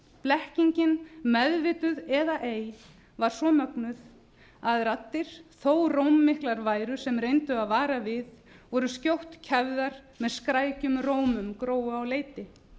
blekkingin meðvituð eða ei var svo mögnuð að raddir þó rómmiklar væru sem reyndu að vara við voru skjótt kæfðar með skrækum rómi gróu á leiti